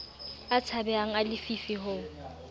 a tshabehang a lefifi ho